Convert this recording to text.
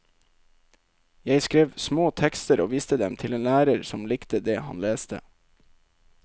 Jeg skrev små tekster og viste dem til en lærer som likte det han leste.